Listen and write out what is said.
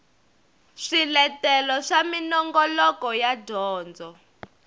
swiletelo swa minongoloko ya dyondzo